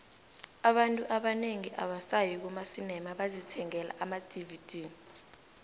abantu abanengi abasayi kumacinemabazithengela amadvd